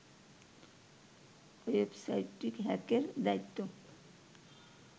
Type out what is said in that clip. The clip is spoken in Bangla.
ওয়েবসাইটটি হ্যাকের দায়িত্ব